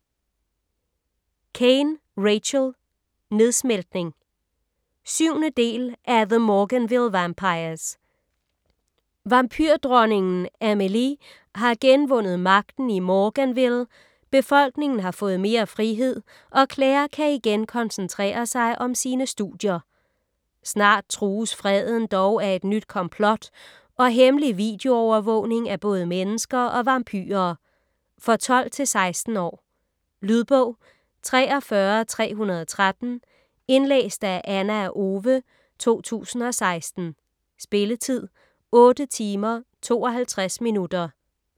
Caine, Rachel: Nedsmeltning 7. del af The Morganville vampires. Vampyrdronningen Amelie har genvundet magten i Morganville, befolkningen har fået mere frihed og Claire kan igen koncentrere sig om sine studier. Snart trues freden dog af et nyt komplot og hemmelig videoovervågning af både mennesker og vampyrer. For 12-16 år. Lydbog 43313 Indlæst af Ana Owe, 2016. Spilletid: 8 timer, 52 minutter.